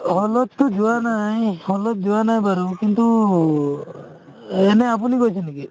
অ, hall তো যোৱা নাই hall ত যোৱা নাই বাৰু কিন্তু এনে আপুনি গৈছে নেকি